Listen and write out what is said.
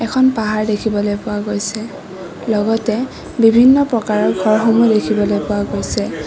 এখন পাহাৰ দেখিবলৈ পোৱা গৈছে লগতে বিভিন্ন প্ৰকাৰৰ ঘৰ দেখিবলৈ পোৱা গৈছে।